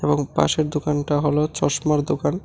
এবং পাশের দোকানটা হল চশমার দোকান।